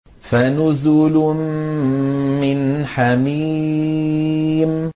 فَنُزُلٌ مِّنْ حَمِيمٍ